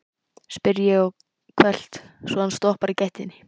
spyr ég hvellt, svo hann stoppar í gættinni.